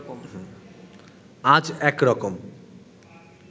আজ একরকম